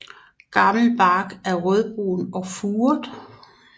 Gammel bark er rødbrun og furet